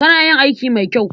Kana yin aiki mai kyau.